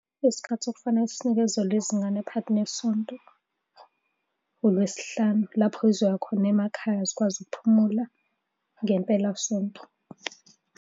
Isikhathi okufanele sinikezelwe izingane phakathi nesonto, uLwesihlanu. Lapho-ke zizoya khona emakhaya zikwazi ukuphumula ngempelasonto.